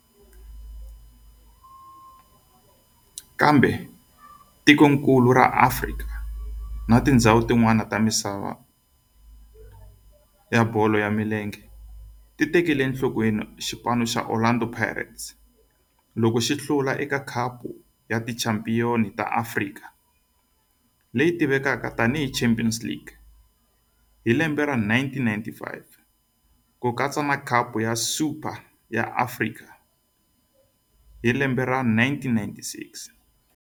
Kambe tikonkulu ra Afrika na tindzhawu tin'wana ta misava ya bolo ya milenge ti tekele enhlokweni Orlando Pirates Football Club loko yi hlula eka Khapu ya Tichampion ta Afrika, leyi tivekaka tani hi Champions League, hi 1995 na Khapu ya Super ya Afrika endzhaku ka lembe.